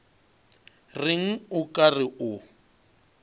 reng o ka re o